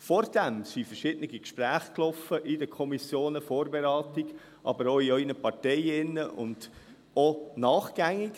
Davor liefen verschiedene Gespräche in den Kommissionen – Vorberatung –, aber auch in Ihren Parteien und auch danach.